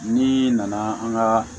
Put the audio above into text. Ni nana an ka